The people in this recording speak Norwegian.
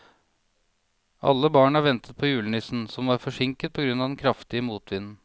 Alle barna ventet på julenissen, som var forsinket på grunn av den kraftige motvinden.